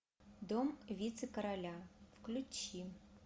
дом вице короля включи